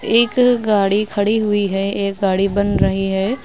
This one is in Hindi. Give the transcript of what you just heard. एक गाड़ी खड़ी हुई है एक गाड़ी बन रही है।